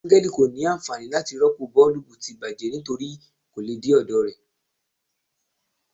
Angel ko ni anfani lati ropo boolubu ti bajẹ nitori ko le de ọdọ rẹ